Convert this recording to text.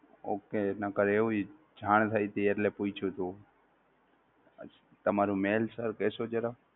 okay નહિતર એવું જાણ થઈતી એટલે પૂછ્યું તું તમારું mail sir કેહશો જરા